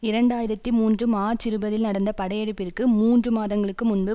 இரண்டு ஆயிரத்தி மூன்று மார்ச் இருபதில் நடந்த படையெடுப்பிற்கு மூன்று மாதங்களுக்கு முன்பு